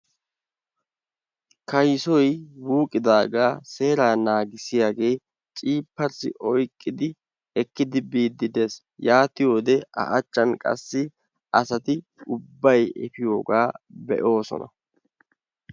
Kaysoy wuqqidaaga seeraa naagissiyaage cirppars oyqqidi ekkidi biide de'ees, yaatiyode a achchan qassi asati ubbay efiyogaa be'oosona.